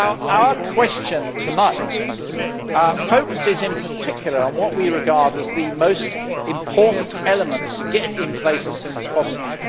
Our question tonight focuses, in particular, on what we regard as the most important elements to be put in place as soon as possible.